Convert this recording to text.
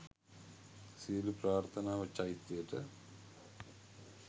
සියලු ප්‍රාර්ථනාව චෛත්‍යයට